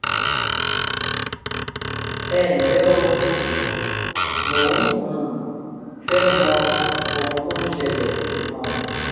ẹ ǹlẹ́ o! mo um fẹ́ mọ ohun tó ń ṣẹlẹ̀ um